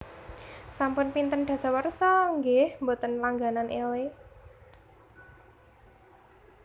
Sampun pinten dasawarsa nggeh mboten langganan Elle?